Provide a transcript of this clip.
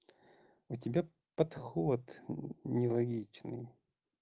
у тебя подход нелогичный